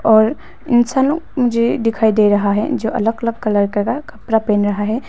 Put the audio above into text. और इंसान लोग मुझे दिखाई दे रहा है जो अलग अलग कलर का कपड़ा पहन रहा है।